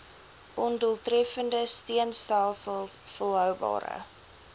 ondoeltreffende steunstelsels volhoubare